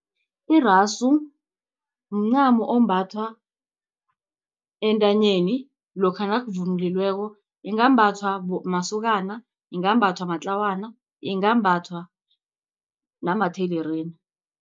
Irasu mncamo ombathwa entanyeni lokha nakuvunulikweko, ingambathwa masokana, ingambathwa matlawana, ingambathwa namathelerina.